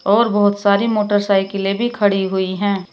और बहोत सारी मोटरसाइकिलें भी खड़ी हुई हैं।